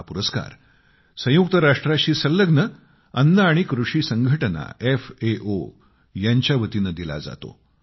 हा पुरस्कार संयुक्त राष्ट्रांशी संलग्न अन्न आणि कृषी संघटना एफ ए ओ यांच्या वतीनं दिला जातो